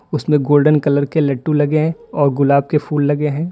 उसमें golden colour के लट्टू लगे हैं और गुलाब के फूल लगे हैं।